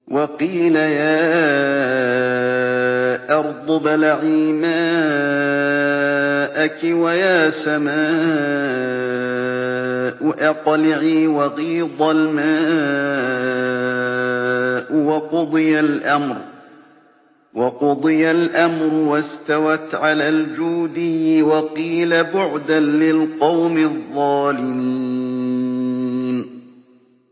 وَقِيلَ يَا أَرْضُ ابْلَعِي مَاءَكِ وَيَا سَمَاءُ أَقْلِعِي وَغِيضَ الْمَاءُ وَقُضِيَ الْأَمْرُ وَاسْتَوَتْ عَلَى الْجُودِيِّ ۖ وَقِيلَ بُعْدًا لِّلْقَوْمِ الظَّالِمِينَ